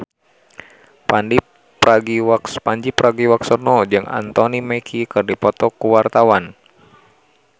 Pandji Pragiwaksono jeung Anthony Mackie keur dipoto ku wartawan